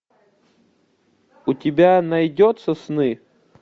у тебя найдется сны